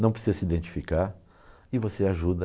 Não precisa se identificar e você ajuda.